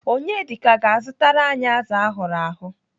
Onyedika ga-azụtara anyị azụ ahụrụ ahụ.